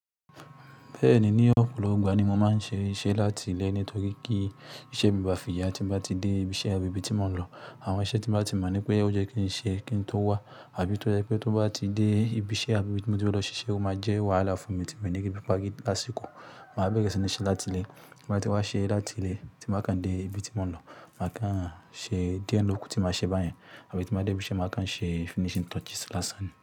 Bẹ́ẹ̀ni, ní ọ̀pọ̀lọpọ̀ ìgbà ni mo máa ń ṣe iṣẹ́ láti ilé nítorí kí iṣẹ́ mi ba fì yà tí mo bá ti dé ibi iṣẹ́ àbí ibi tí mo ń lọ. Àwọn iṣẹ́ tí mo bá ti mọ̀ wipé ó yẹ́ kí n ṣe kí n tó wá àbí tó jẹ́ pé tó bá ti dé ibi iṣẹ́ àbí ibi tí mo ti lọ ṣe iṣẹ́, ó máa jẹ́ wàhálà fún mi tí mo ní kí bí i bá rí lásìkò. Màá bẹ̀rẹ̀ sí ní ṣe láti ilé. Mo bá ti wá ṣe ẹ́ láti ilé tí mo kàn dé ibi tí mo ń lọ, màá kàn ṣe díẹ lòkú tí maa ṣe báyẹn àbí tí mo bá dé ibi iṣẹ́, màá kàn ṣe finishing touches lásán ni.